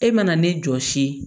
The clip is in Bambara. E mana ne jɔsi